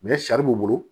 sari b'u bolo